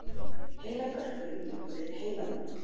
heilabörkurinn liggur yfir heilanum